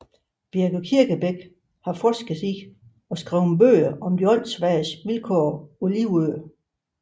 Birgit Kirkebæk har forsket i og skrevet bøger om de åndssvages vilkår på Livø